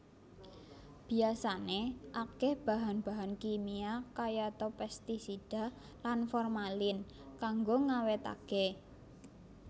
Biyasané akéh bahan bahan kimia kayata pestisida lan formalin kanggo ngawétaké